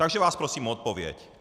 Takže vás prosím o odpověď.